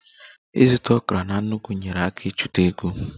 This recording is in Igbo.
Ịzụta okra na nnukwu nyeere aka ịchekwa ego